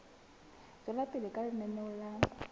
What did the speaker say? tswela pele ka lenaneo la